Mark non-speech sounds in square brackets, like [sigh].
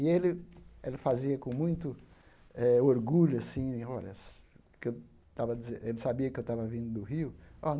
E ele ele fazia com muito eh orgulho, assim, [unintelligible] ele sabia que eu estava vindo do Rio.